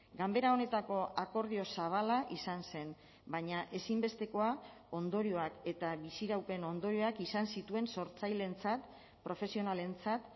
ganbera honetako akordio zabala izan zen baina ezinbestekoa ondorioak eta biziraupen ondorioak izan zituen sortzaileentzat profesionalentzat